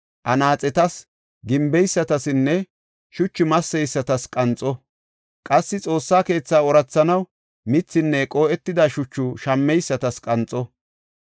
anaaxetas, gimbeysatsinne shuchu masseysatas qanxo. Qassi Xoossa keetha oorathanaw, mithinne qoo7etida shuchu shammeysatas qanxo.